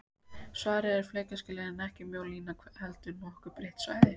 Svarið er að flekaskilin eru ekki mjó lína heldur nokkuð breitt svæði.